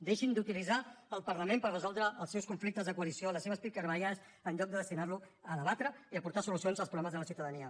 deixin d’utilitzar el parlament per resoldre els seus conflictes de coalició les seves picabaralles en lloc de destinar lo a debatre i a portar solucions als problemes de la ciutadania